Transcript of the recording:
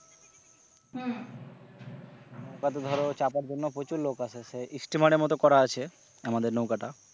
নৌকাতে ধর চাপার জন্য প্রচুর লোক আসে সে steamer এর মত করা আছে আমাদের নৌকাটা।